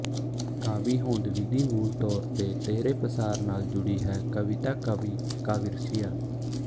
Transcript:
ਕਾਵਿ ਹੋਂਦ ਵਿਧੀ ਮੂਲ ਤੌਰ ਤੇ ਤੀਹਰੇ ਪਸਾਰ ਨਾਲ ਜੁੜੀ ਹੈ ਕਵਿਤਾ ਕਵੀ ਕਾਵਿਰਸੀਆ